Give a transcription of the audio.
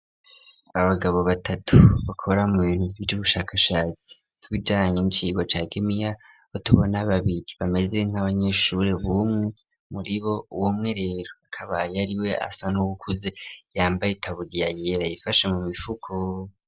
Abagabo batatu bakora mu bintu vy'ubushakashatsi kubijanye n'icirwa ca gimiya aho tubona babiri bameze nk'abanyeshuri bumwe muri bo uwo umwe rero akaba yari we asa n'ubukuze yambaye itaburiya yera yifashe mu mifuko.